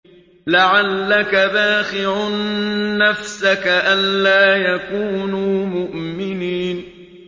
لَعَلَّكَ بَاخِعٌ نَّفْسَكَ أَلَّا يَكُونُوا مُؤْمِنِينَ